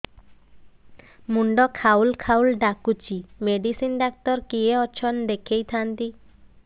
ମୁଣ୍ଡ ଖାଉଲ୍ ଖାଉଲ୍ ଡାକୁଚି ମେଡିସିନ ଡାକ୍ତର କିଏ ଅଛନ୍ ଦେଖେଇ ଥାନ୍ତି